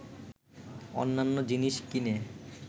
অন্যান্য জিনিস কিনে